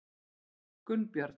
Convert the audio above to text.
Gunnbjörn